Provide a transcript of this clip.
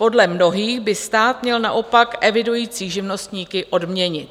Podle mnohých by stát měl naopak evidující živnostníky odměnit.